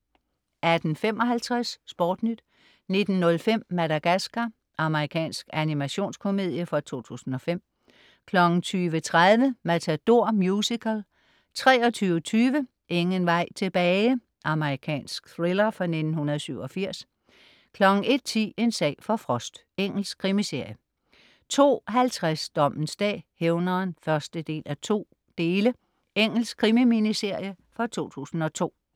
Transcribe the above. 18.55 SportNyt 19.05 Madagascar. Amerikansk animationskomedie fra 2005 20.30 Matador Musical 23.20 Ingen vej tilbage. Amerikansk thriller fra 1987 01.10 En sag for Frost. Engelsk krimiserie 02.50 Dommens dag: Hævneren (1:2). Engelsk krimi-miniserie fra 2002